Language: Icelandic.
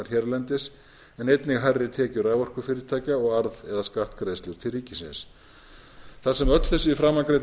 hérlendis en einnig hærri tekjur raforkufyrirtækja og arð eða skattgreiðslur til ríkisins þar sem öll framangreind